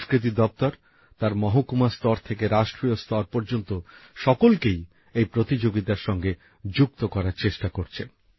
সংস্কৃতি দপ্তর তার মহকুমা স্তর থেকে রাষ্ট্রীয় স্তর পর্যন্ত সকলকেই এই প্রতিযোগিতার সঙ্গে যুক্ত করার চেষ্টা করছে